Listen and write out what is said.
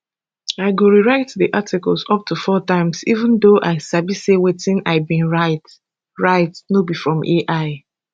i go rewrite di articles up to four times even though i sabi say wetin i bin write no be from ai